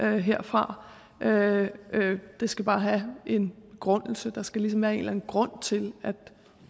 herfra det det skal bare have en begrundelse der skal ligesom være en eller anden grund til at vi